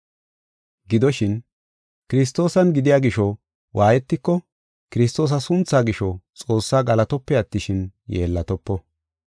Gidoshin, kiristaane gidiya gisho waayetiko Kiristoosa sunthaa gisho Xoossaa galatope attishin, yeellatopo.